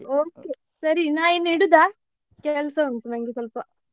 Okay ಸರಿ ನಾ ಇನ್ನು ಇಡುದಾ? ಕೆಲ್ಸ ಉಂಟು ನಂಗೆ ಸ್ವಲ್ಪ.